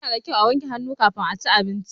Ya na da kyau a wanke hannu kafin a ci abinci.